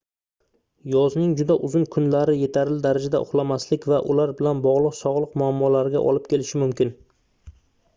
yozning juda uzun kunlari yetarli darajada uxlamaslik va ular bilan bogʻliq sogʻliq muammolariga olib kelishi mumkin